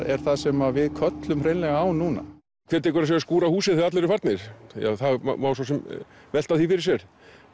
er það sem við köllum hreinlega á núna hver tekur að sér að skúra húsið þegar allir eru farnir það má svo sem velta því fyrir sér